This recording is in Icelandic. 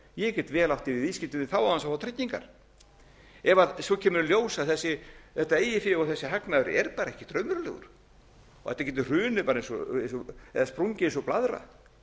ég get vel átt í viðskiptum við þá án þess að fá tryggingar ef svo kemur í ljós að þetta eigið fé og þessi hagnaður er bara ekkert raunverulegur og þetta getur hrunið bara og sprungið eins og blaðra